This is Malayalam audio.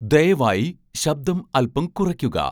ദയവായി ശബ്ദം അല്പം കുറയ്ക്കുക